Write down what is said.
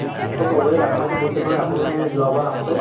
এনেকৈ কবয়ে আচাৰতো দিছিল নহয় আপুনি এই যোৱাবাৰ আহোতে